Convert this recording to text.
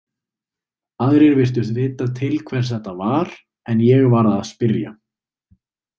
Aðrir virtust vita til hvers þetta var, en ég varð að spyrja.